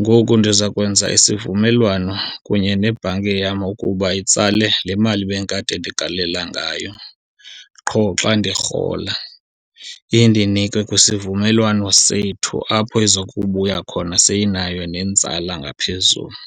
Ngoku ndiza kwenza isivumelwano kunye nebhanki yam ukuba itsale le mali bendikade ndigalela ngayo qho xa ndirhola, indinike kwisivumelwano sethu apho ezokubuya khona seyinayo nenzala ngaphezulu.